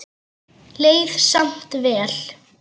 Leið samt vel.